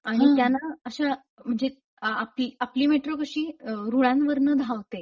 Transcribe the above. आणि त्या ना अशा म्हणजे आपली मेट्रो कशी रुळांवरन धावते;